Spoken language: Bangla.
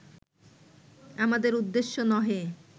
আমাদের উদ্দেশ্য নহে